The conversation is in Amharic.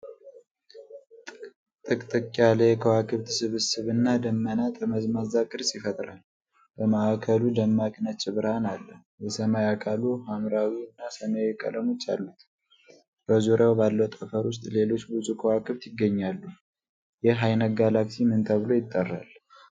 ጥቅጥቅ ያለ የከዋክብት ስብስብ እና ደመና ጠመዝማዛ ቅርጽ ይፈጥራል። በማዕከሉ ደማቅ ነጭ ብርሃን አለ። የሰማይ አካሉ ሐምራዊ እና ሰማያዊ ቀለሞች አሉት። በዙሪያው ባለው ጠፈር ውስጥ ሌሎች ብዙ ከዋክብት ይገኛሉ። ይህ ዓይነት ጋላክሲ ምን ተብሎ ይጠራል?